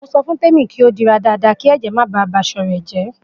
Mo so fun Temi pe ki o padi dada ki eje re ko ba aso re je.